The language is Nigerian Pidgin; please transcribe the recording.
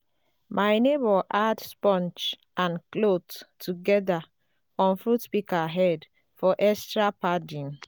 my neighbour add sponge and cloth togeda on fruit pika head for extra padding